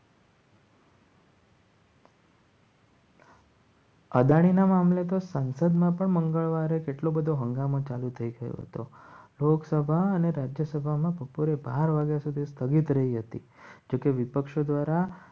અદાણીના મામલે તો સંસદમાં પણ મંગળવારે એટલો બધો હંગામા ચાલુ થઈ ગયો હતો. લોકસભા અને રાજ્યસભામાં બપોરે બાર વાગ્યા સુધી સ્થગિત રહી હતી જોકે વિપક્ષો દ્વારા